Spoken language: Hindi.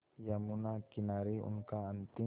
यमुना किनारे उनका अंतिम